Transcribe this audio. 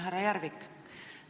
Härra Järvik!